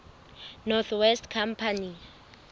north west company